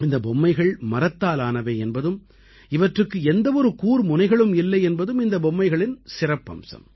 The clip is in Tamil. இந்தப் பொம்மைகள் மரத்தாலானவை என்பதும் இவற்றுக்கு எந்த ஒரு கூர்முனைகளும் இல்லை என்பதும் இந்தப் பொம்மைகளின் சிறப்பம்சம்